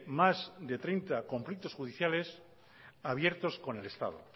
más de treinta conflictos judiciales abiertos con el estado